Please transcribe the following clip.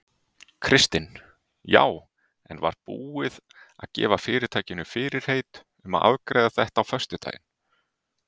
Kristinn: Já en var búið að gefa fyrirtækinu fyrirheit um að afgreiða þetta á föstudaginn?